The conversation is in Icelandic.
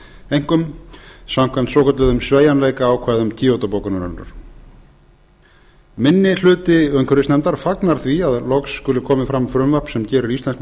einkum samkvæmt svokölluðum sveigjanleikaákvæðum kyoto bókunarinnar minni hluti umhverfisnefndar fagnar því að loksins skuli komið fram frumvarp sem gerir íslenskum